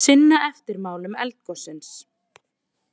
Sinna eftirmálum eldgossins